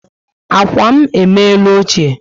Ákwà m emere ochie